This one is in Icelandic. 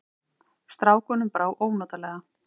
Strákunum brá ónotalega.